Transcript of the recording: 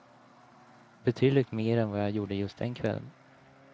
Betydligt mer än vad jag gjorde just den kvällen.